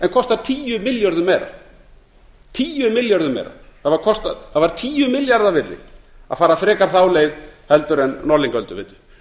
en kostar tíu milljörðum meira það var tíu milljarða virði að fara frekar þá leið en norðlingaölduveitu